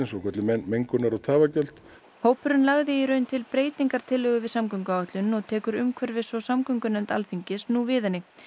svokölluð mengunar og tafagjöld hópurinn lagði í raun til breytingartillögu við samgönguáætlun og tekur umhverfis og samgöngunefnd Alþingis nú við henni